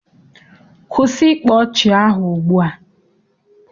Kwụsị ịkpa ọchị ahụ ugbua!